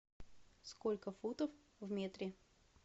сколько футов в метре